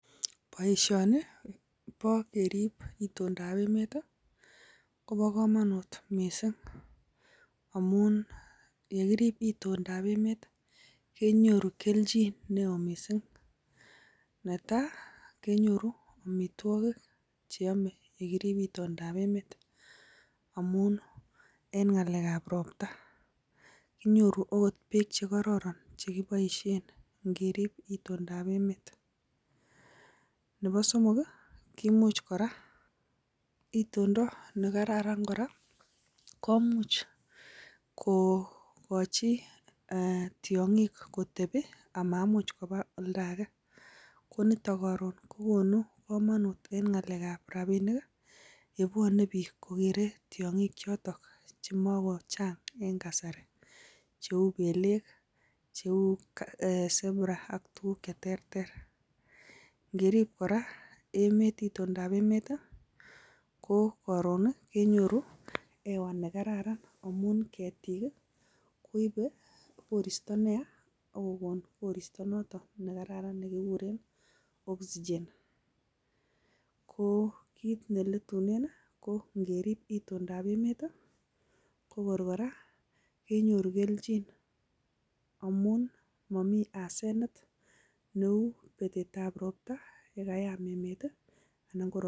Boisioni bo kerib itondab emet kobo komonut mising, amun ye kirib itondab emet kenyoru kelchin neo mising. Netai kenyoru amitwogik cheyome ye kirib itondab emet amun en ng'alek ab ropta inyoru agot beek che kororon che kiboisien ngerib itondab emet. Nebo somok kimuch ekora, itondo ne kararan kora komuch kogochi tiong'ik kotebi amamuch koba oldo age ko nito koron kogonukoout en ngalekab rabinik y ebwone biik konyokokere tiong'ik chot chemakochang en kasari cheu beelek, cheu zebra ak tuguk che terter. Ngerib kora itondab emet ko koorn kenyoru hewa nekararanamun ketik koibe koristo neya ak kogonun koristo noton nekararan nekikuren oxygen ko kiit ne letunen kongerib itondab emet ko kor kora kenyoru kelchin amun momi hasanet neu betet ab ropta ye kayam emet.